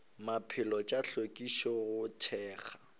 maphelo tša hlwekišo go thekga